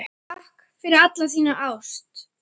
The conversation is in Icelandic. Takk fyrir alla þína ást.